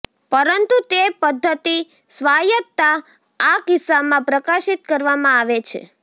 પરંતુ તે પદ્ધતિ સ્વાયત્તતા આ કિસ્સામાં પ્રકાશિત કરવામાં આવે છે